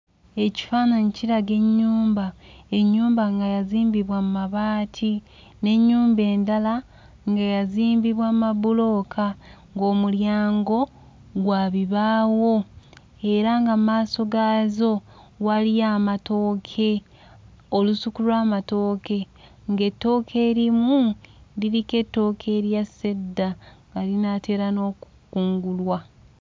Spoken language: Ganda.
Ekifaananyi kiraga ennyumba; ennyumba nga yazimbibwa mu mabaati n'ennyumba endala nga yazimbibwa mu mabulooka ng'omulyango gwa bibaawo era nga mu maaso gaazo waliyo amatooke, olusuku lw'amatooke, ng'ettooke erimu liriko ettooke eryassa edda, nga linaatera n'okukungulwa.